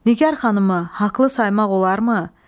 Nigar xanımı haqlı saymaq olarmı?